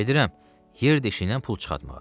Gedirəm, yer deşiyindən pul çıxartmağa.